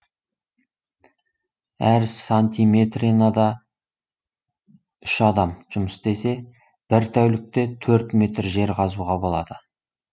әр сантиметренада үш адам жұмыс істесе бір тәулікте төрт метр жер қазуға болады